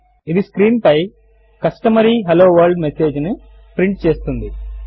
ఇది స్క్రీన్ పై customary hello world message ను ప్రింట్ చేస్తుంది